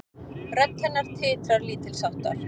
Rödd hennar titrar lítilsháttar.